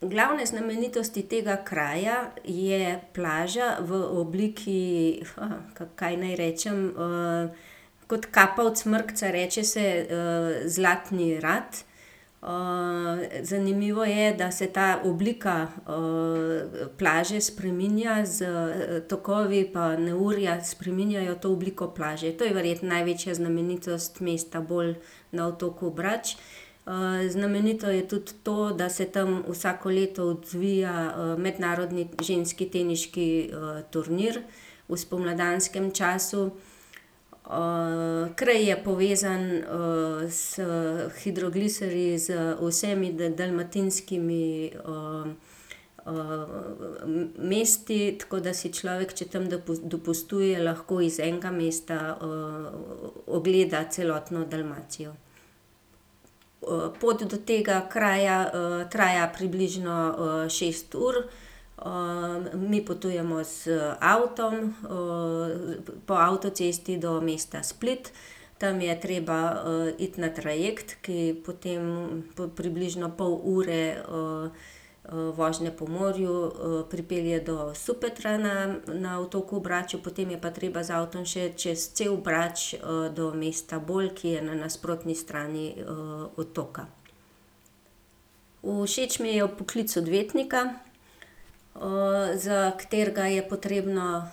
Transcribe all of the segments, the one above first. Glavne znamenitosti tega kraja je plaža v obliki, kaj naj rečem, kot kapa od Smrkca. Reče se, Zlatni rat. zanimivo je, da se ta oblika, plaže spreminja s tokovi pa neurja spreminjajo to obliko plaže. To je verjetno največja znamenitost mesta Bol na otoku Brač. znamenito je tudi to, da se tam vsako leto odvija, mednarodni ženski teniški, turnir, v spomladanskem času. kraj je povezan, s hidrogliserji z vsemi dalmatinskimi, mesti, tako da si človek, če tam dopustuje, lahko iz enega mesta, ogleda celotno Dalmacijo. pot do tega kraja, traja približno, šest ur. mi potujemo z avtom, po avtocesti do mesta Split. Tam je treba, iti na trajekt, ki potem po približno pol ure, vožnje po morju, pripelje do Supetra na, na otoku Braču. Potem je pa treba z avtom še čez cel Brač, do mesta Bol, ki je na nasprotni strani, otoka. Všeč mi je poklic odvetnika, za katerega je potrebno,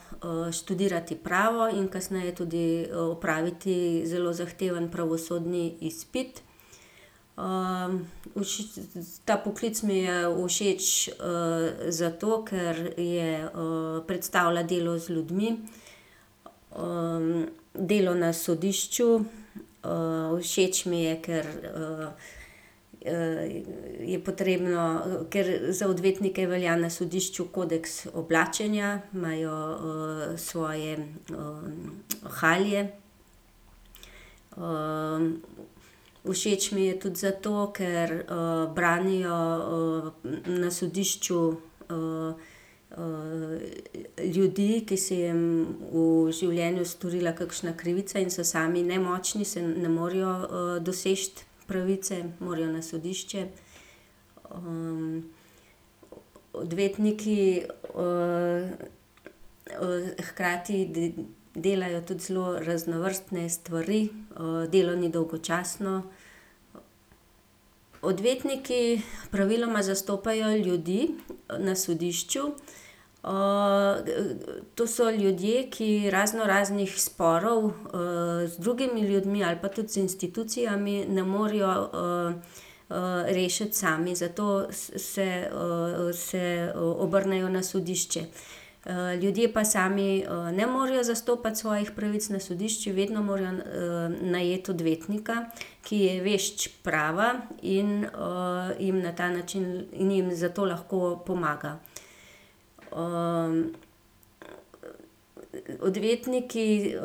študirati pravo in kasneje tudi, opraviti zelo zahteven pravosodni izpit. ta poklic mi je všeč, zato, ker je, predstavlja delo z ljudmi, delo na sodišču, všeč mi je, ker, je potrebno, ker za odvetnike velja na sodišču kodeks oblačenja, imajo, svoje, halje. všeč mi je tudi zato, ker, branijo, na sodišču, ljudi, ki se jim v življenju storila kakšna krivica in so sami nemočni, saj ne morejo, doseči pravice, morajo na sodišče. odvetniki, hkrati delajo tudi zelo raznovrstne stvari. delo ni dolgočasno. Odvetniki praviloma zastopajo ljudi na sodišču. to so ljudje, ki raznoraznih sporov, z drugimi ljudmi ali pa tudi z institucijami ne morejo, rešiti sami, zato se, se, obrnejo na sodišče. ljudje pa sami, ne morejo zastopati svojih pravic na sodišču, vedno morajo najeti odvetnika, ki je vešč prava in, jim na ta način njim zato lahko pomaga. odvetniki,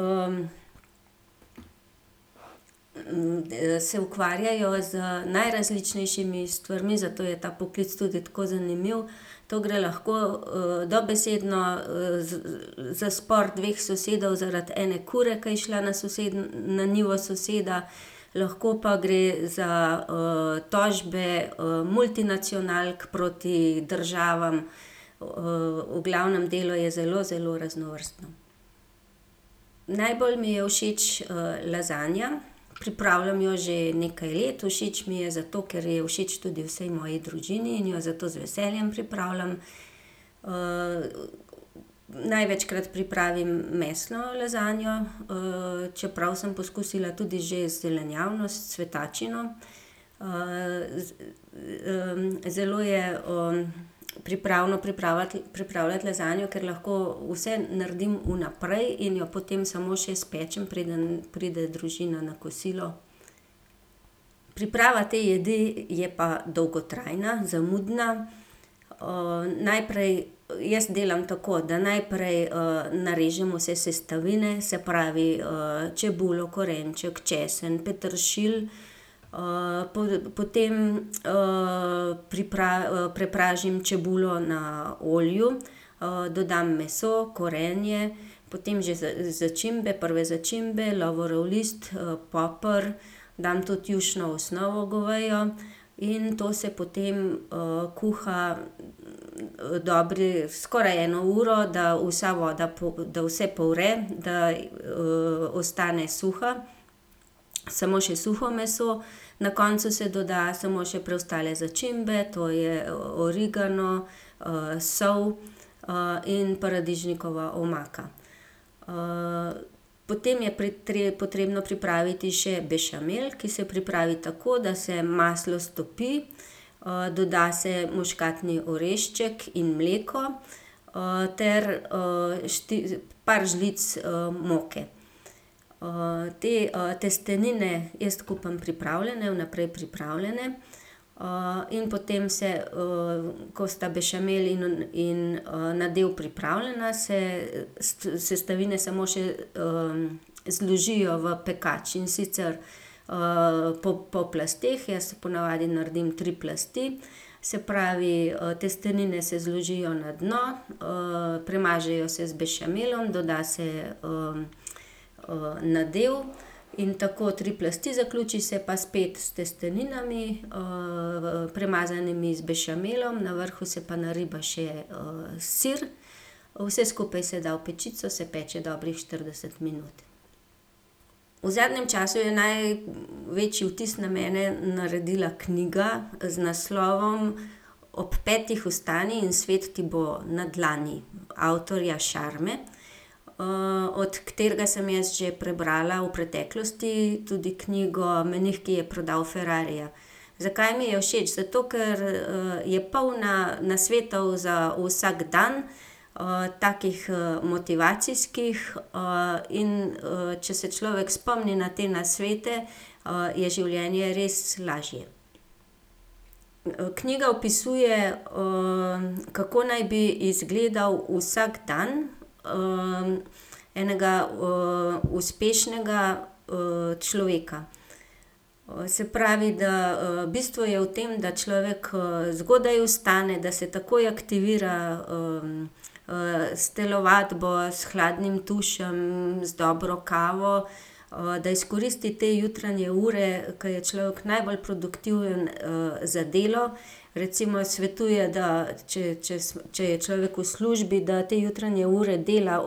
se ukvarjajo z najrazličnejšimi stvarmi, zato je ta poklic tudi tako zanimiv. Tu gre lahko, dobesedno, za spor dveh sosedov zaradi ene kure, ke je šla na na njivo soseda, lahko pa gre za, tožbe, multinacionalk proti državam. v glavnem, delo je zelo, zelo raznovrstno. Najbolj mi je všeč, lazanja. Pripravljam jo že nekaj let. Všeč mi je zato, ker je všeč tudi vsaj moji družini in jo zato z veseljem pripravljam. največkrat pripravim mesno lazanjo, čeprav sem poskusila tudi že zelenjavno s cvetačo. zelo je, pripravno pripravljati lazanjo, ker lahko vse naredim vnaprej in jo potem samo še spečem, preden pride družina na kosilo. Priprava te jedi je pa dolgotrajna, zamudna. najprej, jaz delam tako, da najprej, narežem vse sestavine, se pravi, čebulo, korenček, česen, peteršilj. potem, prepražim čebulo na olju, dodam meso, korenje, potem že začimbe, prve začimbe, lovorov list, poper. Dam tudi jušno osnovo govejo. In to se potem, kuha dobre, skoraj eno uro, da vsa voda da vse povre, da, ostane suha, samo še suho meso. Na koncu se doda samo še preostale začimbe, to je origano, sol, in paradižnikova omaka. potem je potrebno pripraviti še bešamel, ki se pripravi tako, da se maslo stopi, doda se muškatni orešček in mleko, ter, par žlic, moke. te, testenine jaz kupim pripravljene, vnaprej pripravljene. in potem se, ko sta bešamel in, nadev pripravljena, se sestavine samo še, zložijo v pekač. In sicer, po plasteh, jaz po navadi naredim tri plasti. Se pravi, testenine se zložijo na dno, premažejo se z bešamelom, doda se, nadev in tako tri plasti zaključiš. Se pa spet s testeninami, premazanimi z bešamelom, na vrhu se pa nariba še, sir. Vse skupaj se da v pečico, se peče dobrih štirideset minut. V zadnjem času je največji vtis na mene naredila knjiga z naslovom Ob petih vstani in svet ti bo na dlani avtorja Sharme, od katerega sem jaz že prebrala v preteklosti tudi knjigo Menih, ki je prodal ferrarija. Zakaj mi je všeč? Zato, ker, je polna nasvetov za vsak dan, takih, motivacijskih, in, če se človek spomni na te nasvete, je življenje res lažje. Knjiga opisuje, kako naj bi izgledal vsakdan, enega, uspešnega, človeka. se pravi, da, bistvo je v tem, da človek, zgodaj vstane, da se takoj aktivira, s telovadbo, s hladnim tušem, z dobro kavo, da izkoristi te jutranje ure, ke je človek najbolj produktiven, za delo. Recimo, svetuje, da če, če če je človek v službi, da te jutranje ure dela,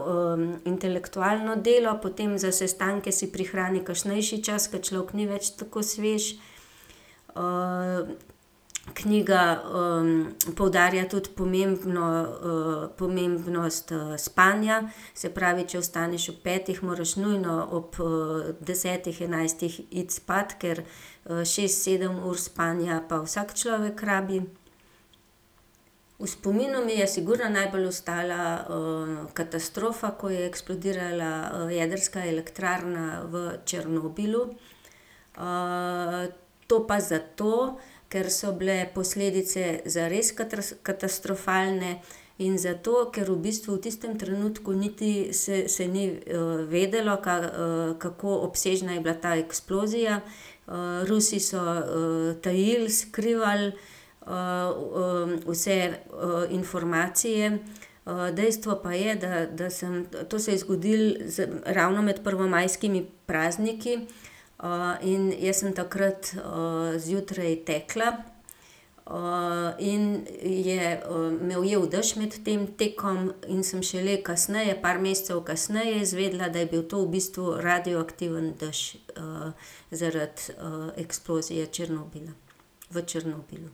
intelektualno delo, potem za sestanke si prihrani kasnejši čas, ke človek ni več tako svež. knjiga, poudarja tudi pomembno, pomembnost, spanja. Se pravi, če vstaneš ob petih, moraš nujno ob, desetih, enajstih iti spat, ker šest, sedem ur spanja pa vsak človek rabi. V spominu mi je sigurno najbolj ostala, katastrofa, ko je eksplodirala, jedrska elektrarna v Černobilu. to pa zato, ker so bile posledice zares katastrofalne in zato, ker v bistvu v tistem trenutku niti se, se ni, vedelo, kako obsežna je bila ta eksplozija. Rusi so, tajili, skrivali, vse, informacije, dejstvo pa je, da sem, to se je zgodilo ravno med prvomajskimi prazniki, in jaz sem takrat, zjutraj tekla, in je me ujel dež med tem tekom in sem šele kasneje, par mesecev kasneje izvedla, da je bil to v bistvu radioaktivni dež, zaradi, eksplozije Černobila, v Černobilu.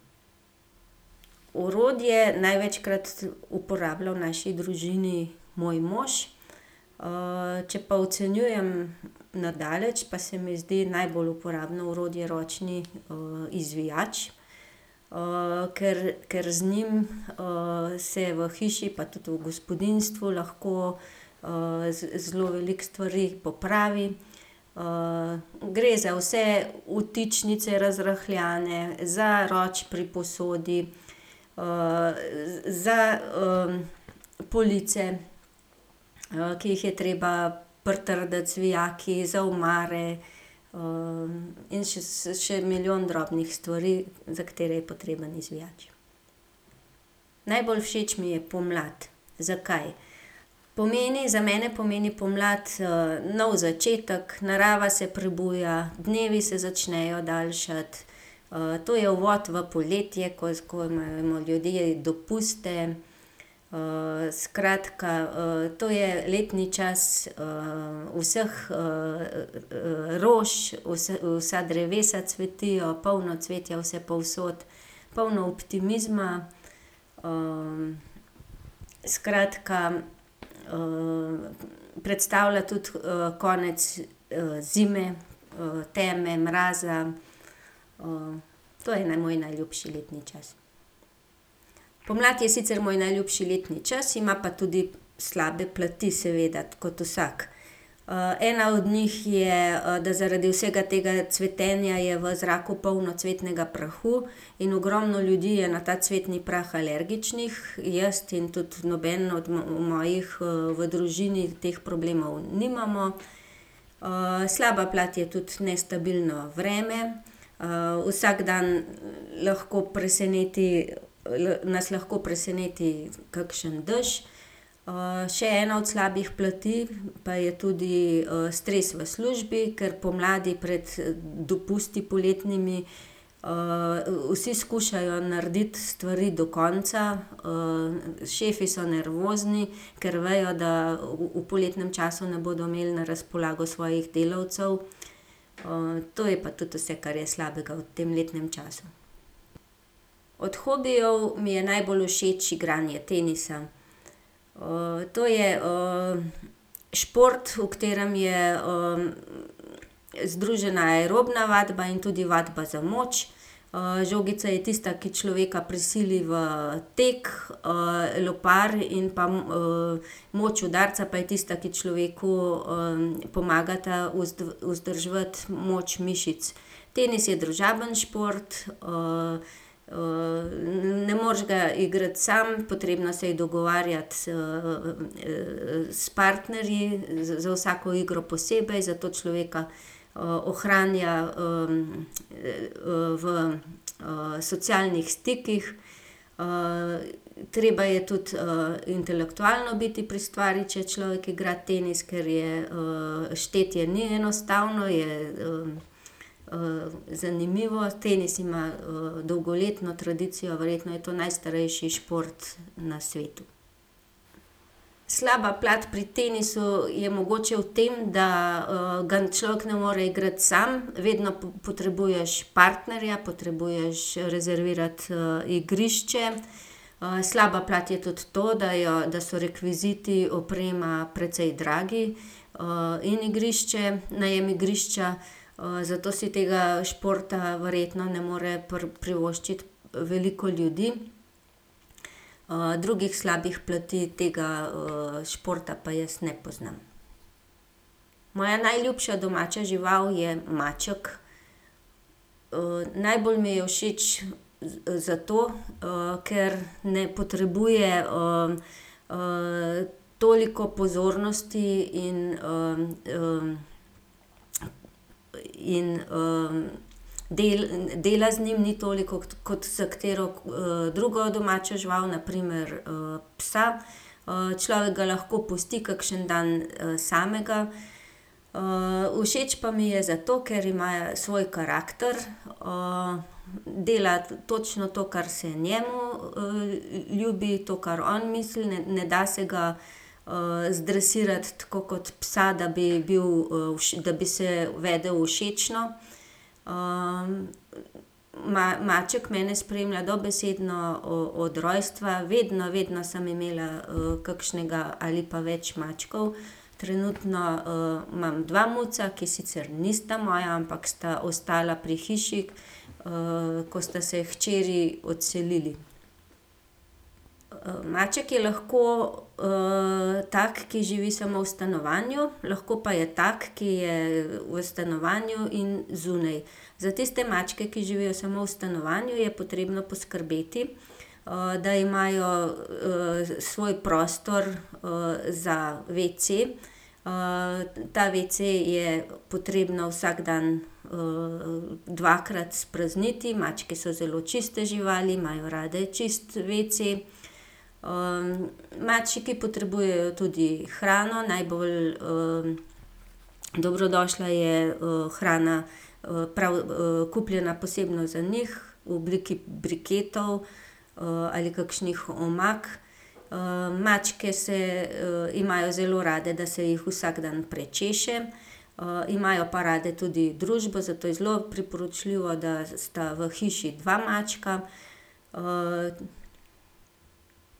Orodje največkrat uporablja v naši družini moj mož. če pa ocenjujem na daleč, pa se mi zdi najbolj uporabno orodje ročni, izvijač, ker, ker z njim, se v hiši pa tudi v gospodinjstvu lahko, zelo veliko stvari popravi. gre za vse vtičnice razrahljane, za roki pri posodi, za, police, ki jih je treba pritrditi z vijaki, za omare, in še še milijon drobnih stvari, za katere je potreben izvijač. Najbolj všeč mi je pomlad. Zakaj? Pomeni, za mene pomeni pomlad, nov začetek, narava se prebuja, dnevi se začnejo daljšati. to je uvod v poletje, ko je tako, imamo ljudje dopuste, skratka, to je letni čas, vseh, rož, vsa drevesa cvetijo, polno cvetja vsepovsod. Polno optimizma. skratka, predstavlja tudi, konec, zime, teme, mraza. to je moj najljubši letni čas. Pomlad je sicr moj najljubši letni čas, ima pa tudi slabe plati seveda kot vsak. ena od njih je, da zaradi vsega tega cvetenja je v zraku polno cvetnega prahu in ogromno ljudi je na ta cvetni prah alergičnih. Jaz in tudi noben od mojih, v družini teh problemov nimamo. slaba plat je tudi nestabilno vreme. vsak dan lahko preseneti, nas lahko preseneti kakšen dež. še ena od slabih plati pa je tudi, stres v službi, ker pomladi pred dopusti poletnimi, vsi skušajo narediti stvari do konca. šefi so nervozni, ker vejo, da v poletnem času ne bodo imeli na razpolago svojih delavcev. to je pa tudi vse, kar je slabega v tem letnem času. Od hobijev mi je najbolj všeč igranje tenisa. to je, šport, v katerem je, združena aerobna vadba in tudi vadba za moč. žogica je tista, ki človeka prisili v tek, lopar in pa, moč udarca pa je tista, ki človeku, pomagata vzdrževati moč mišic. Tenis je družabni šport, ne moreš ga igrati sam, potrebno se je dogovarjati s, s partnerji za vsako igro posebej, zato človeka, ohranja, v, socialnih stikih. treba je tudi, intelektualno biti pri stvari, če človek igra tenis, ker je, štetje ni enostavno, je, zanimivo. Tenis ima, dolgoletno tradicijo, verjetno je to najstarejši šport na svetu. Slaba plat pri tenisu je mogoče v tem, da, ga človek ne more igrati sam, vedno potrebuješ partnerja, potrebuješ rezervirati, igrišče. slaba plat je tudi to, da jo, da so rekviziti, oprema precej dragi, in igrišče, najem igrišča, zato si tega športa verjetno ne more privoščiti veliko ljudi. drugih slabih plati tega, športa pa jaz ne poznam. Moja najljubša domača žival je maček. najbolj mi je všeč zato, ker ne potrebuje, toliko pozornosti in, in, dela z njim ni toliko kot s katero, drugo domačo živaljo, na primer, psom. človek ga lahko pusti kakšen dan, samega. všeč pa mi je zato, ker ima svoj karakter, dela točno to, kar se njemu, ljubi, to, kar on misli, ne, ne da se ga, zdresirati tako kot psa, da bi bil, da bi se vedel všečno. maček mene spremlja dobesedno, od rojstva, vedno, vedno sem imela, kakšnega ali pa več mačkov. Trenutno, imam dva muca, ki sicer nista moja, ampak sta ostala pri hiši, ko sta se hčeri odselili. Maček je lahko, tak, ki živi samo v stanovanju, lahko pa je tak, ki je v stanovanju in zunaj. Za tiste mačke, ki živijo samo v stanovanju, je potrebno poskrbeti, da imajo, svoj prostor, za wc. ta wc je potrebno vsak dan, dvakrat sprazniti, mačke so zelo čiste živali, imajo rade čist wc. mački potrebujejo tudi hrano, najbolj, dobrodošla je, hrana, prav, kupljena posebno za njih v obliki briketov, ali kakšnih omak. mačke se, imajo zelo rade, da se jih vsak dan prečeše, imajo pa rade tudi družbo, zato je zelo priporočljivo, da sta v hiši dva mačka.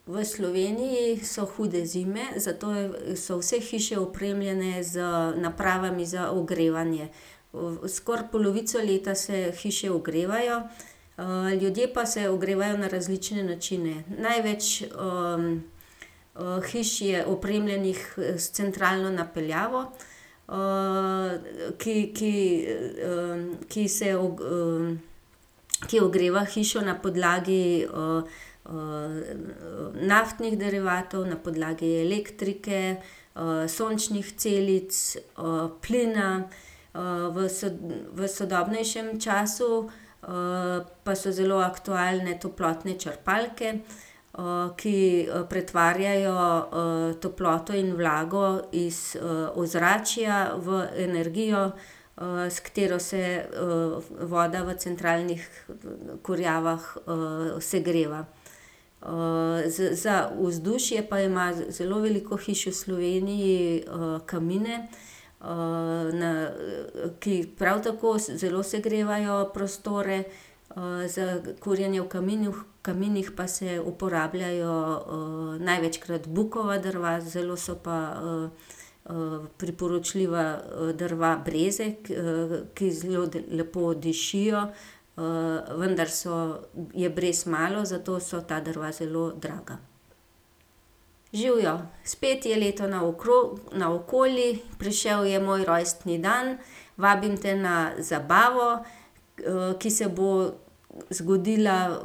v Sloveniji so hude zime, zato so vse hiše opremljene z napravami za ogrevanje. skoraj polovico leta se hiše ogrevajo, ljudje pa se ogrevajo na različne načine. Največ, hiš je opremljenih s centralno napeljavo, ki, ki, ki se ki ogreva hišo na podlagi, naftnih derivatov, na podlagi elektrike, sončnih celic, plina. v v sodobnejšem času, pa so zelo aktualne toplotne črpalke, ki pretvarjajo, toploto in vlago iz, ozračja v energijo, s katero se voda v centralnih kurjavah segreva. za vzdušje pa ima zelo veliko hiš v Sloveniji, kamine, ki prav tako zelo segrevajo prostore, za kurjenje v kaminih pa se uporabljajo, največkrat bukova drva, zelo so pa, priporočljiva, drva breze, ki zelo lepo dišijo, vendar so, je brez malo, zato so ta drva zelo draga. Živjo. Spet je leto naokoli, prišel je moj rojstni dan. Vabim te na zabavo, ki se bo zgodila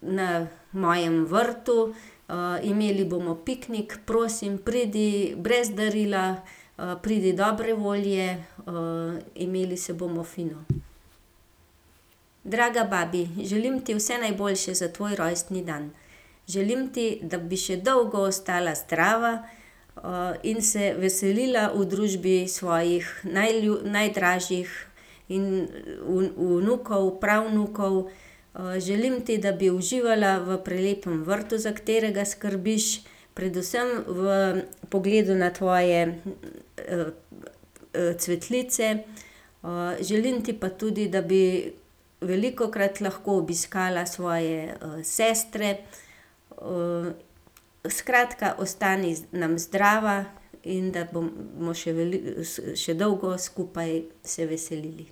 na mojem vrtu. imeli bomo piknik. Prosim, pridi brez darila, pridi dobre volje, imeli se bomo fino. Draga babi. Želim ti vse najboljše za tvoj rojstni dan. Želim ti, da bi še dolgo ostala zdrava, in se veselila v družbi svojih najdražjih in vnukov, pravnukov. želim ti, da bi uživala v prelepem vrtu, za katerega skrbiš, predvsem v pogledu na tvoje, cvetlice. želim ti pa tudi, da bi velikokrat lahko obiskala svoje, sestre. skratka, ostani nam zdrava in da bomo še še dolgo skupaj se veselili.